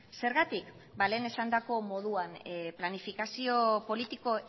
zergatik ba lehen esandako moduan planifikazio politiko